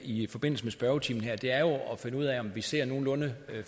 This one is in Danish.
i forbindelse med spørgetimen her er at finde ud af om vi ser nogenlunde